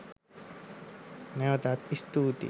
නැවතත් ස්තූතියි.